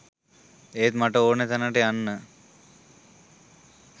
ඒත් මට ඕන තැනට යන්න